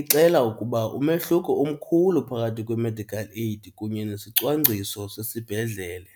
ixela ukuba umehluko umkhulu phakathi kwe-medical aid kunye nesicwangciso sesibhedlele.